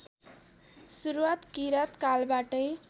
सुरुवात किराँत कालबाटै